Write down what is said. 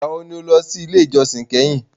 Ìgbà wo ni o lọ sí ilé ìjósìn kẹ́hìn?